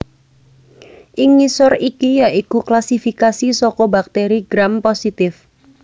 Ing ngisor iki ya iku klasifikasi saka bakteri Gram positif